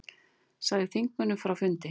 Sagði þingmönnum frá fundi